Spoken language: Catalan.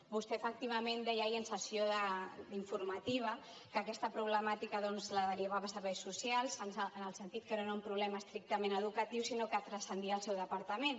vostè efectivament deia ahir en sessió informativa que aquesta problemàtica doncs la derivava a serveis socials en el sentit que no era un problema estrictament educatiu sinó que transcendia el seu departament